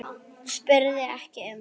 spurði ekki um